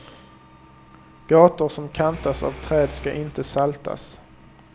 Gator som kantas av träd ska inte saltas.